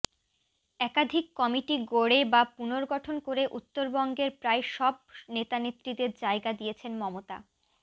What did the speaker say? একাধিক কমিটি গড়ে বা পুনর্গঠন করে উত্তরবঙ্গের প্রায় সব নেতানেত্রীকে জায়গা দিয়েছেন মমতা